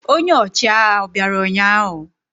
Ọnye ochịagha obịara ụnyahụ?